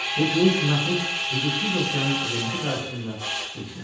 Bu cılız məxluq hüdudsuz okeanın əzəməti qarşısında heç nədir.